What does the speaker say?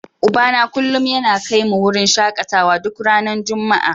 Ubana kullum yana kai mu wurin shakatawa duk ranar Juma'a.